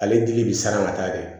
Ale dili bɛ saraka taa de